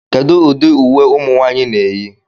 Kedu ụdị uwe ụmụ nwanyị na-eyi